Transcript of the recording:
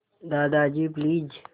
Dadaji please